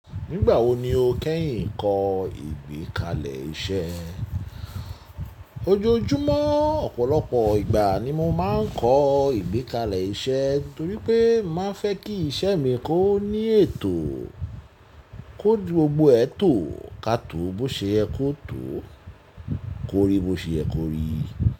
Nígbà wo ni o kẹ́yìn ń kọ ìgbékalẹ̀ iṣẹ́? Ojoojúmọ́, ọ̀pọ̀lọpọ̀ ìgbà ni mo máa ń kọ ìgbékalẹ̀ iṣẹ́ torí pé máa fẹ́ kí iṣẹ́ mi kó ní ètò, kóju gbogbo ẹ tó, ká tó bó ṣe ẹ kó tó, kó rí bó ṣe ẹ kó rí.